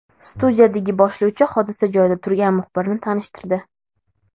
Studiyadagi boshlovchi hodisa joyida turgan muxbirni tanishtirdi.